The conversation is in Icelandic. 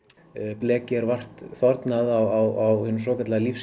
blekið er vart þornað á hinum svokallaða